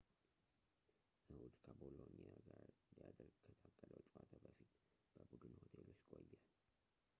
እሁድ ከቦሎኒያ ጋር ሊደረግ ከታቀደው ጨዋታ በፊት በቡድን ሆቴል ውስጥ ቆየ